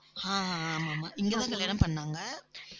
ஆஹ் அஹ் ஆமா, ஆமா இங்கேதான் கல்யாணம் பண்ணாங்க.